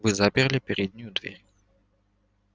вы заперли переднюю дверь